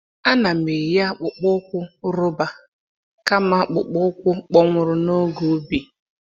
A na'm eyi akpụkpọ ụkwụ roba kama akpụkpọ ụkwụ kpọnwụrụ n’oge ubi.